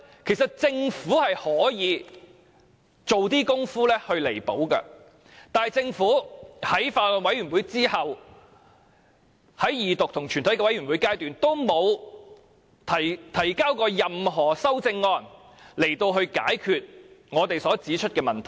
其實政府是可以做些工夫去彌補的，但政府在法案委員會審議之後，沒有在二讀及全體委員會階段提交任何修正案，以解決我們所指出的問題。